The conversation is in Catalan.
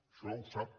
això ho sap